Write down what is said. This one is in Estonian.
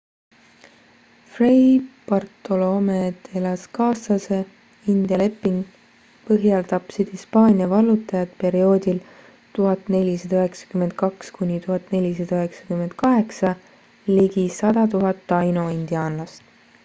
fray bartolome de las casase india leping põhjal tapsid hispaania vallutajad perioodil 1492 kuni 1498 ligi 100 000 taino indiaanlast